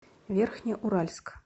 верхнеуральск